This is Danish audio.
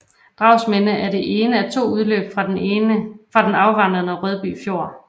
Dragsminde er det ene af to udløb fra den afvandende Rødby Fjord